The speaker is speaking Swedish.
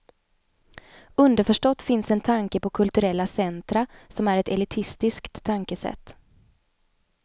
Underförstått finns en tanke på kulturella centra, som är ett elitistiskt tänkesätt.